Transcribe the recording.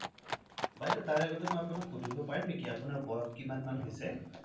বাইদেউ তাৰ আগতে মই আপুনাক সুধিব পাৰিম নেকি আপুনাৰ বয়স কিমান মান হইচে?